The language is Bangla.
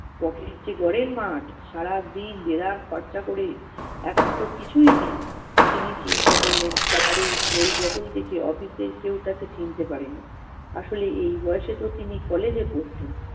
ঘরের মাঠ, সারাদিন দেদার খরচা করে এখন তো কিছুই নেই! তিনি চিন্তা করলেন তার এই বদন দেখে office এর কেউ তাকে চিনতে পারে নি। আসলে এই বয়সে তো তিনি college এ পড়তেন